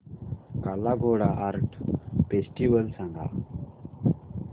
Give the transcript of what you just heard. काला Ghoda art festival सांग